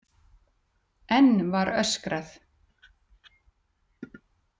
Enn var öskrað.